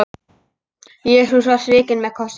Jesús var svikinn með kossi.